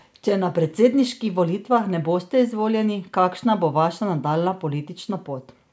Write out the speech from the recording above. Če na predsedniških volitvah ne boste izvoljeni, kakšna bo vaša nadaljnja politična pot?